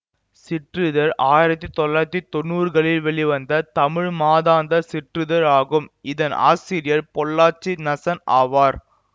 சிற்றிதழ் ஆயிரத்தி தொள்ளாயிரத்தி தொன்னூறுகளில் வெளிவந்த தமிழ் மாதாந்த சிற்றிதழ் ஆகும் இதன் ஆசிரியர் பொள்ளாச்சி நசன் ஆவார்